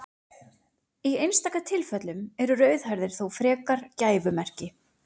Í einstaka tilfellum eru rauðhærðir þó frekar gæfumerki.